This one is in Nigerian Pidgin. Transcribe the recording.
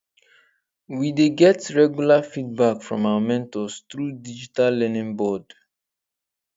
we dey get regular feedback from our mentors through digital learning board